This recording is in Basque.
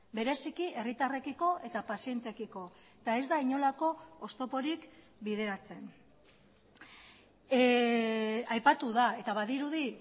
bereziki herritarrekiko eta pazienteekiko eta ez da inolako oztoporik bideratzen aipatu da eta badirudi